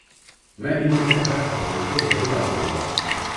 میں ان میں سے ہر پکوان کو ضرور آزماؤں گا۔